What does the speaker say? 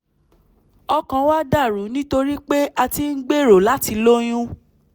ọkàn wa dà rú nítorí pé a ti ń gbèrò láti lóyún